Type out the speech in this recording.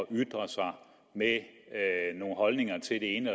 ytre sig med nogle holdninger til det ene